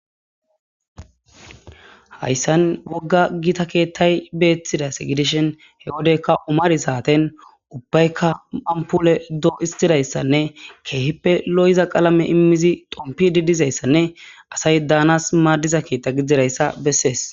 Hayssan wogga gita keettay beeththidas gidishin he wodekka umari saaten ubbaykka amupule doo istidayssanne keehippe lo7iza qalame immizi dompi di dizayssanne asay daanas maaddiza keetta giddidayssa bessees.